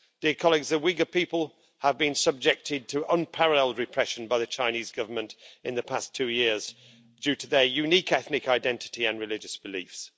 The Uyghur people have been subjected to unparalleled repression by the Chinese Government in the past two years due to their unique ethnic identity and religious beliefs.